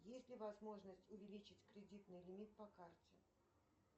есть ли возможность увеличить кредитный лимит по карте